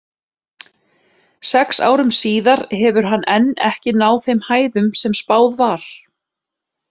Sex árum síðar hefur hann enn ekki náð þeim hæðum sem spáð var.